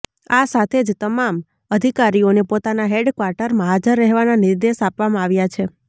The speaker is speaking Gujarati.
આ સાથે જ તમામ અધિકારીઓને પોતાના હેડ ક્વાર્ટરમાં હાજર રહેવાના નિર્દેશ આપવામાં આવ્યા છે